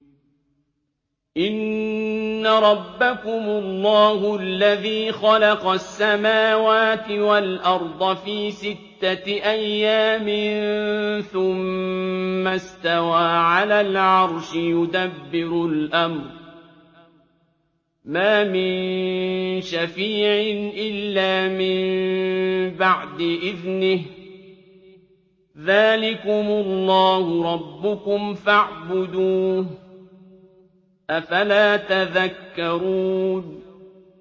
إِنَّ رَبَّكُمُ اللَّهُ الَّذِي خَلَقَ السَّمَاوَاتِ وَالْأَرْضَ فِي سِتَّةِ أَيَّامٍ ثُمَّ اسْتَوَىٰ عَلَى الْعَرْشِ ۖ يُدَبِّرُ الْأَمْرَ ۖ مَا مِن شَفِيعٍ إِلَّا مِن بَعْدِ إِذْنِهِ ۚ ذَٰلِكُمُ اللَّهُ رَبُّكُمْ فَاعْبُدُوهُ ۚ أَفَلَا تَذَكَّرُونَ